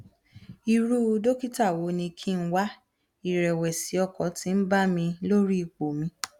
irú dókítà wo ni kí n wá ìrẹwẹsì ọkàn ti ń bà mí lórí ipò mi